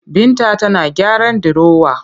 Binta tana gyaran dirowa